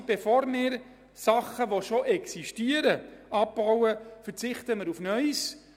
Bevor wir bereits existierende Leistungen abbauen, verzichten wir auf neue.